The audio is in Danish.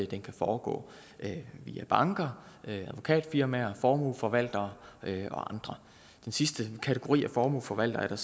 den kan foregå via banker advokatfirmaer formueforvaltere og andre den sidste kategori af formueforvaltere er